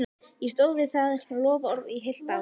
Ég stóð við það loforð í heilt ár.